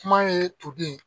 Kuma ye toden ye